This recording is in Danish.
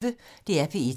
DR P1